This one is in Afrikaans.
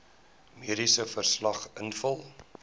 mediese verslag invul